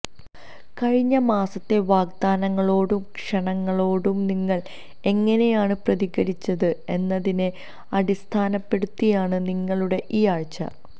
കഴിഞ്ഞ മാസത്തെ വാഗ്ദാനങ്ങളോടും ക്ഷണങ്ങളോടും നിങ്ങൾ എങ്ങനെയാണ് പ്രതികരിച്ചത് എന്നതിനെ അടിസ്ഥാനപ്പെടുത്തിയാണ് നിങ്ങളുടെ ഈയാഴ്ച